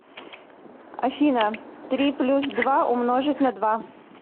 афина три плюс два умножить на два